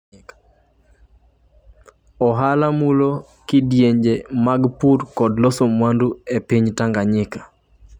Ohala mulo sekta mag pur kod loso mwandu e piny Tanzania